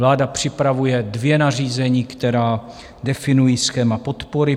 Vláda připravuje dvě nařízení, která definují schéma podpory.